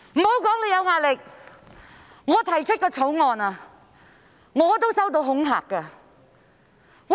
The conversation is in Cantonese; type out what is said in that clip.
莫說你有壓力，甚至我提出法案也收到恐嚇。